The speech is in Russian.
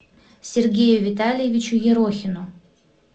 сергею витальевичу ерохину